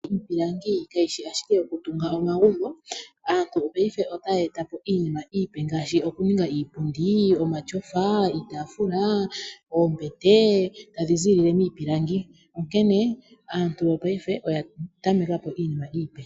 Iipilangi kayi shi ashike yokutunga omagumbo. Aantu mopaife otaya eta po iinima iipe ngaashi okuninga iipundi, omashofa, iitafula, oombete tadhi ziilile miipilangi. Onkene aantu yo paife oya tameka po iinima iipe.